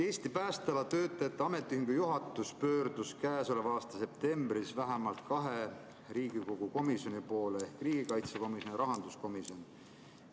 Eesti Päästeala Töötajate Ametiühingu juhatus pöördus käesoleva aasta septembris vähemalt kahe Riigikogu komisjoni, riigikaitsekomisjoni ja rahanduskomisjoni poole.